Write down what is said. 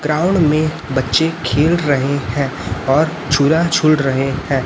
Ground में बच्चे खेल रहे हैं और झूला झूल रहे हैं।